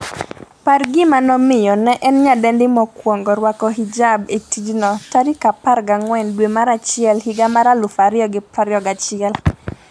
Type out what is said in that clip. par gima nomiyo ne en nyadendi mokwongo rwako hijab e tijno14 dwe mar achiel higa mar 2021